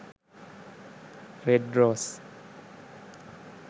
red rose